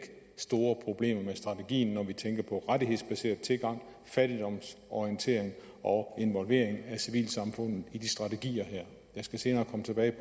store problemer med strategien når vi tænker på rettighedsbaseret tilgang fattigdomsorientering og involvering af civilsamfundet i de strategier her jeg skal senere komme tilbage